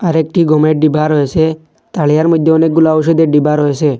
আরেকটি গমের ডিবা রয়েসে তারিয়ার মইধ্যে অনেকগুলা ওষুধের ডিবা রয়েসে।